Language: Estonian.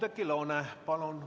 Oudekki Loone, palun!